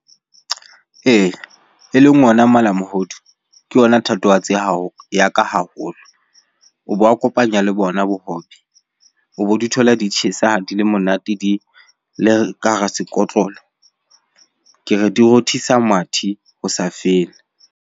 Ee, eleng ona malamohodu ke yona thatohatsi ya hao, ya ka haholo. O bo a kopanya le bona bohobe. O bo di thola di tjhesa, di le monate, di le ka hara sekotlolo. Ke re di rothisa mathe ho sa fele.